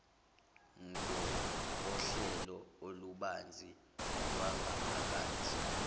ngokohlelo olubanzi lwangaphakathi